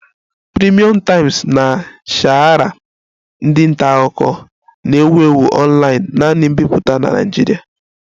Premium Times na Sahara ndị nta akụkọ na-ewu ewu online-naanị mbipụta na Nigeria